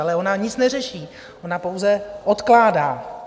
Ale ona nic neřeší, ona pouze odkládá.